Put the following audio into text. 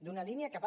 d’una línia que va